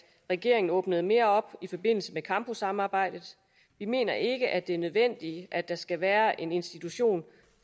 regeringen åbner mere op i forbindelse med campussamarbejdet vi mener ikke at det er nødvendigt at der skal være en institution